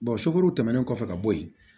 sofɛriw tɛmɛnen kɔfɛ ka bɔ yen